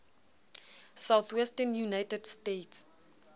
southwestern united states